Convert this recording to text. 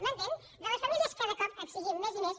m’entén de les famílies cada cop n’exigim més i més